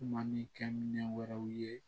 Kuma ni kɛminɛ wɛrɛw ye